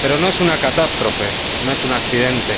Pero no es una catástrofe, no es un accidente.